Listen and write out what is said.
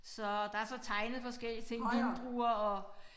Så der så tegnet forskellige ting vindruer og